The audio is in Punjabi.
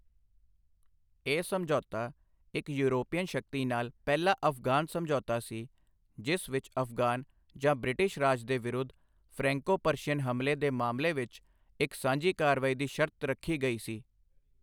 ਇਹ ਸਮਝੌਤਾ, ਇੱਕ ਯੂਰਪੀਅਨ ਸ਼ਕਤੀ ਨਾਲ ਪਹਿਲਾ ਅਫਗਾਨ ਸਮਝੌਤਾ ਸੀ, ਜਿਸ ਵਿੱਚ ਅਫਗਾਨ ਜਾਂ ਬ੍ਰਿਟਿਸ਼ ਰਾਜ ਦੇ ਵਿਰੁੱਧ ਫ੍ਰੈਂਕੋ ਪਰਸ਼ੀਅਨ ਹਮਲੇ ਦੇ ਮਾਮਲੇ ਵਿੱਚ ਇੱਕ ਸਾਂਝੀ ਕਾਰਵਾਈ ਦੀ ਸ਼ਰਤ ਰੱਖੀ ਗਈ ਸੀ।